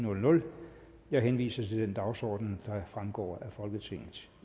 jeg henviser til den dagsorden der fremgår af folketingets